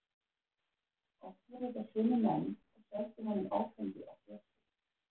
Oft voru þetta sömu menn og seldu honum áfengi á svörtu.